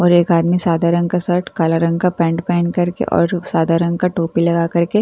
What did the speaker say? और एक आदमी सादा रंग का सर्ट काला रंग का पेंट पेहेन कर के और सादा रंग का टोपी लगा कर के --